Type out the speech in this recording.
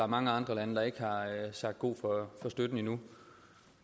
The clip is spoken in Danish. mange andre lande der ikke har sagt god for støtten endnu